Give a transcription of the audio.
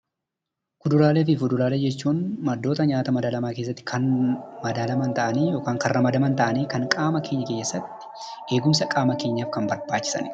Kuduraalee fi fuduraalee jechuun maddoota nyaata madaalamaa keessatti kan madaalaman ta'anii yookaan kan ramadaman ta'anii, kan qaama keenya keessatti eegumsa qaama keenyaaf kan barbaachisanidha.